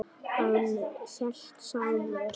Hann hét Sámur.